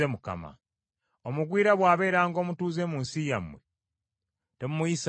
“Omugwira bw’abeeranga omutuuze mu nsi yammwe, temumuyisanga bubi.